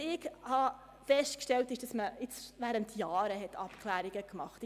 Ich habe jedoch festgestellt, dass während Jahren Abklärungen getroffen wurden.